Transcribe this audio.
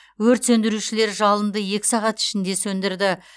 өрт сөндірушілер жалынды екі сағат ішінде сөндірді